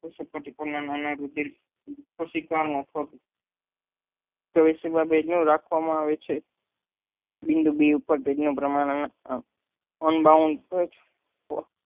રાખવા માં આવે છે બિંદુ બી ઉપર